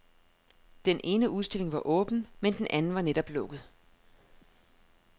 Den ene udstilling var åben, men den anden var netop lukket.